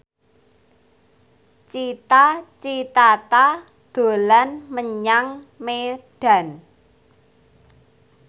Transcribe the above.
Cita Citata dolan menyang Medan